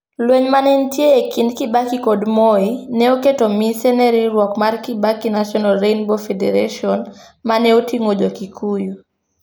Lweny ma ne nitie e kind Kibaki kod Moi, ne oketo mise ne riwruok mar Kibaki National Rainbow Federation, ma ne oting'o Jo-Kikuyu.